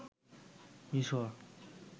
মিসর